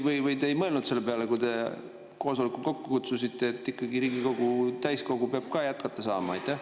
Või te ei mõelnud selle peale, kui te koosoleku kokku kutsusite, et Riigikogu täiskogu peab ikkagi jätkata saama?